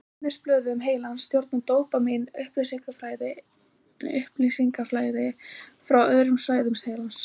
Í ennisblöðum heilans stjórnar dópamín upplýsingaflæði frá öðrum svæðum heilans.